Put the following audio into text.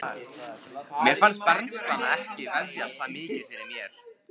Mér fannst bernskan ekki vefjast það mikið fyrir mér.